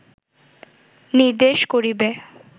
নির্দেশ করিবে